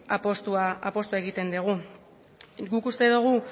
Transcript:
apustua egiten dugu guk uste dugu